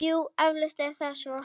Jú, eflaust er það svo.